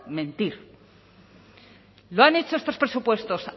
mentir lo han hecho estos presupuestos